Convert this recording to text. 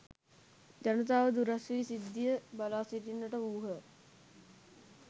ජනතාව දුරස් වී සිද්ධිය බලා සිටින්නට වූහ.